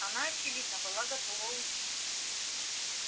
она очевидно была готова уйти